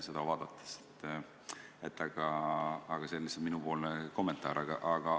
See oli lihtsalt minu kommentaar.